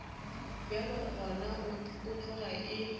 bjalo gona e tloga e